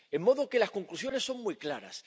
De modo que las conclusiones son muy claras.